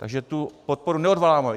Takže tu podporu neodvolávám.